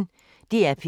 DR P1